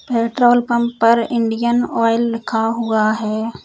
Petrol pump पर Indian oil लिखा हुआ है।